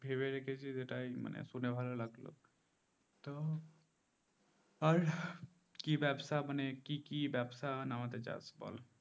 ভেবে রেখেছি যেটা এটা শুনে ভালো লাগলো তো আর ব্যবসা মানে কি কি ব্যবসা নামাতে চাস বল